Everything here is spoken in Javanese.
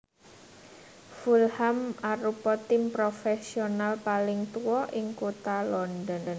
Fulham arupa tim profesional paling tua ing Kota London